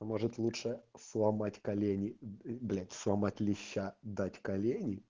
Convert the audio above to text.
может лучше сломать колени блять сломать леща дать колени